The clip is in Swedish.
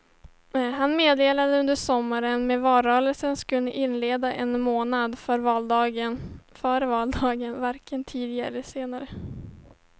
Han meddelade under sommaren att valrörelsen skulle inledas en månad före valdagen, varken tidigare eller senare.